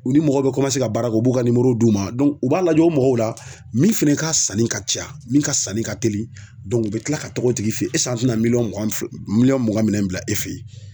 U ni mɔgɔ bɛ ka baara kɛ u b'u ka d'u ma u b'a lajɛ o mɔgɔw la min fɛnɛ ka sanni ka ca min ka sanni ka teli u bɛ tila ka togo tigi fe yen an tɛna miliyɔn mugan minɛn bila e feyi.